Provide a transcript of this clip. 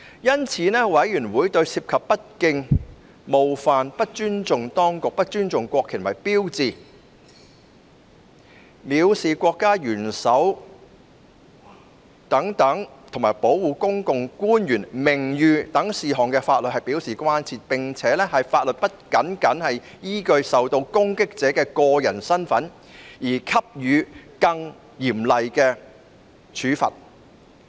因此，委員會對涉及不敬、冒犯、不尊重機關、不尊重國旗及標誌、藐視國家元首及保護政府官員名譽等事項的法律表示關注，並認為法律不能僅僅依據受到攻擊者的個人身份而給予更嚴厲處罰。